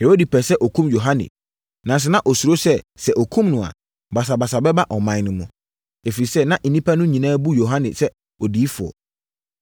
Herode pɛɛ sɛ ɔkum Yohane. Nanso na ɔsuro sɛ, sɛ ɔkum no a, basabasa bɛba ɔman no mu. Ɛfiri sɛ, na nnipa no nyinaa bu Yohane sɛ odiyifoɔ.